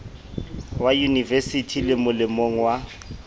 wa yunivesithi le molemong wa